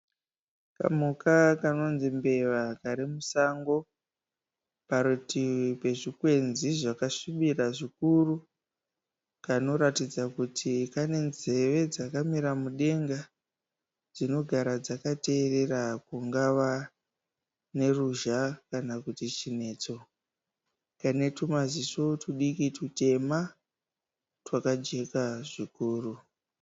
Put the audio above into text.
Kamhuka kanonzi mbeva kari musango parutivi pezvikwenzi zvakasvibira zvikuru. Kanoratidza kuti kane nzeve dzakamira mudenga dzinogara dzakateerera kungava neruzha kana kuti chinetso, kane tumaziso tudiki tutema twakajeka zvikuru.